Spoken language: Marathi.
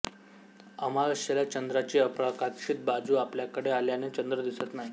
अमावास्येला चंद्राची अप्रकाशित बाजू आपल्याकडे आल्याने चंद्र दिसत नाही